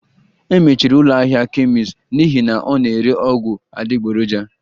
E mechiri ụlọ ahịa kemist n'ihi na ọ na-ere ọgwụ adịgboroja